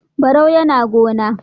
Barau yAna gona